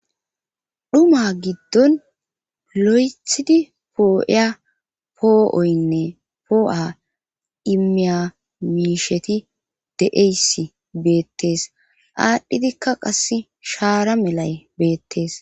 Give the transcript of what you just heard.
dhuma giddon lo7ethidi poo7iya poo7oynne poo7a imiyaiisheti de7eysi beettees aadhdhidikka qass shaara melay beettees